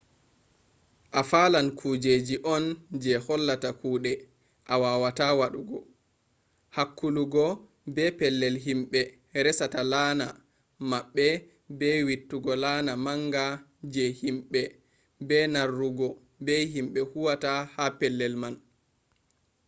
a falan kujeji on je hollata kuɗe a wawata waɗugo hakkuluggo be pellel himɓe resata laana maɓɓe be wittugo laana manga je himɓe be narrugo be himɓe huwata ha pellel man